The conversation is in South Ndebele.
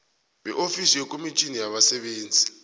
beofisi yekomitjhini yabasebenzi